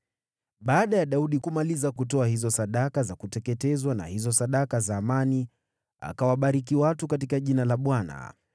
Baada ya Daudi kumaliza kutoa hizo sadaka za kuteketezwa na hizo sadaka za amani, akawabariki watu katika jina la Bwana .